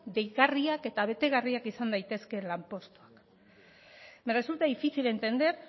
deigarriak eta betegarriak izan daitezke lanpostuak me resulta difícil entender